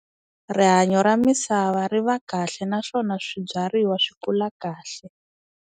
Rihanyo ra misava ri va kahle naswona swibyariwa swi kula kahle.